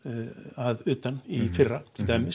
að utan í fyrra